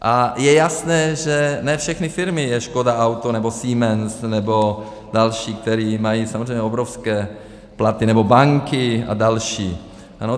A je jasné, že ne všechny firmy jsou Škoda auto nebo Siemens nebo další, které mají samozřejmě obrovské platy, nebo banky a další.